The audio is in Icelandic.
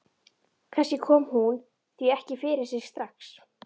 Kannski kom hún því ekki fyrir sig strax.